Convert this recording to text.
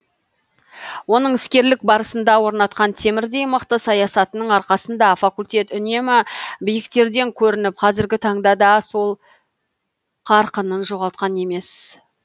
оның іскерлік барысында орнатқан темірдей мықты саясатының арқасында факультет үнемі биіктерден көрініп қазіргі таңда да сол қарқынын жоғалтқан емес